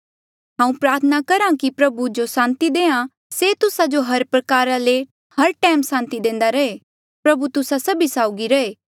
हांऊँ प्रार्थना करहा कि प्रभु जो सांति देआ से तुस्सा जो हर प्रकारा ले हर टैम सांति देंदा रहे प्रभु तुस्सा सभी साउगी रहे